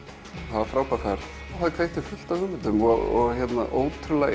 það var frábær ferð og kveikti fullt af hugmyndum og ótrúlega